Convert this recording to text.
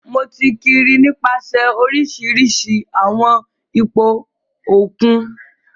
Mo ti kiri nipasẹ orisirisi awọn ipo okun.